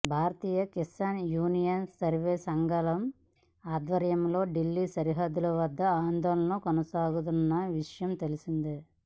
భారతీయ Kisan Union వేర్వేరు సంఘాల ఆధ్వర్యంలో ఢిల్లీ సరిహద్దుల వద్ద ఆందోళనలు కొనసాగుతున్న విషయం తెలిసిందే